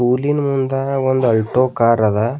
ಹುಲ್ಲಿನ್ ಮುಂದ ಒಂದ ಆಲ್ಟೊ ಕಾರ್ ಅದ.